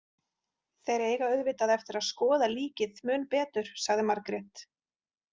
Þeir eiga auðvitað eftir að skoða líkið mun betur, sagði Margrét.